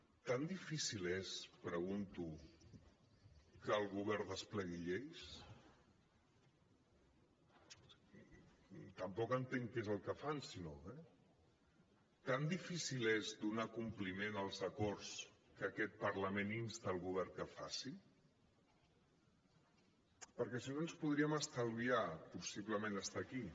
tan difícil és pregunto que el govern desplegui lleis tampoc entenc què és el que fan si no eh tan difícil és donar compliment als acords que aquest parlament insta el govern que faci perquè si no ens podríem estalviar possiblement estar aquí